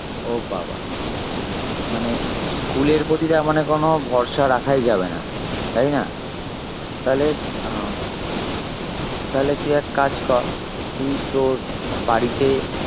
ও বাবাঃ মানে আহ school এর প্রতি তার মানে কোনো ভরসা রাখাই যাবে না তাই না? তালে আহ তালে তুই এক কাজ কর তুই তোর বাড়িতে